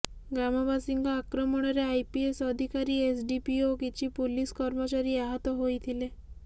ଗ୍ରାମବାସୀ ଙ୍କ ଆକ୍ରମଣରେ ଆଇପିଏସ ଅଧିକାରୀ ଏସଡିପିଓ ଓ କିଛି ପୁଲିସ କର୍ମଚାରୀ ଆହତ ହୋଇଥିଲେ